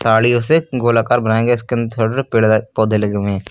साड़ीयो से गोलाकार बनाए गए इसके अंदर छोटे छोटे पेड़ पौधे लगे हुए हैं।